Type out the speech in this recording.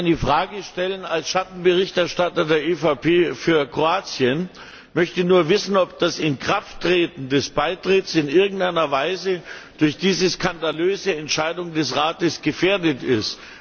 Ich möchte nur eine Frage stellen Als Schattenberichterstatter der EVP für Kroatien möchte ich nur wissen, ob das Inkrafttreten des Beitritts in irgendeiner Weise durch diese skandalöse Entscheidung des Rates gefährdet ist.